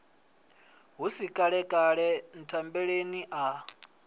hu si kalekale nthambeleni a